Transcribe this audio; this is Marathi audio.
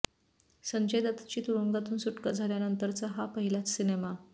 संजय दत्तची तुरुंगातून सुटका झाल्यानंतरचा हा पाहिलाच सिनेमा